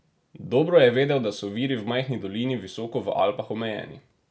Dobro je vedel, da so viri v majhni dolini visoko v Alpah omejeni.